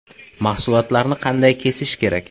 Mahsulotlarni qanday kesish kerak?